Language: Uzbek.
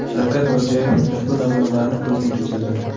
Shavkat Mirziyoyev ushbu namunalarni ko‘zdan kechirdi.